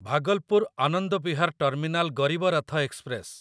Bhagalpur Anand Vihar terminal Garib Rath express